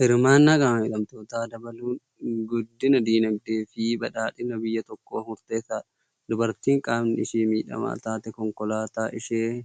Hirmaannaa qaama miidhamtootaa dabaluun guddina dinagdee fi badhaadhina biyya tokkoof murteessaadha. Dubartiin qaamni ishii miidhamaa taatee, konkolaataa isheen